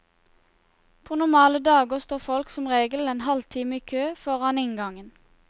På normale dager står folk som regel en halvtime i kø foran inngangen.